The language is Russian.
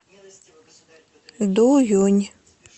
дуюнь